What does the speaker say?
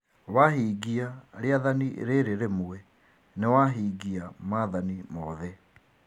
Wahingia rĩathani rĩrĩ rĩmwe nĩwahingia maathani mothe